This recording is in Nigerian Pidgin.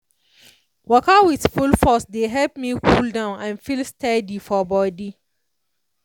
waka with full focus dey help me cool down and feel steady for body.